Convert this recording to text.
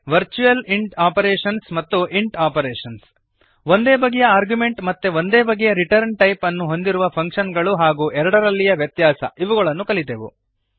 virtual int operations ಮತ್ತು int operations ಒಂದೇ ಬಗೆಯ ಆರ್ಗ್ಯುಮೆಂಟ್ ಮತ್ತು ಒಂದೇ ಬಗೆಯ ರಿಟರ್ನ್ ಟೈಪ್ಅನ್ನು ಹೊಂದಿರುವ ಫಂಕ್ಶನ್ಗಳು ಹಾಗೂ ಎರಡರಲ್ಲಿಯ ವ್ಯತ್ಯಾಸ ಇವುಗಳನ್ನು ಕಲಿತೆವು